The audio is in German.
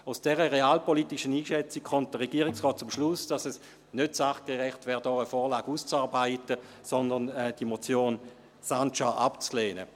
Aufgrund dieser realpolitischen Einschätzung kommt der Regierungsrat zum Schluss, dass es nicht sachgerecht wäre, hier eine Vorlage auszuarbeiten, sondern die Motion Sancar sei abzulehnen.